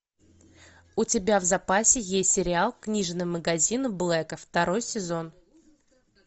у тебя в запасе есть сериал книжный магазин блэка второй сезон